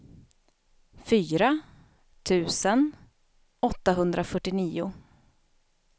fyra tusen åttahundrafyrtionio